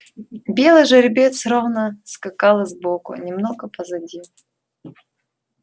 белый жеребец ровно скакал сбоку немного позади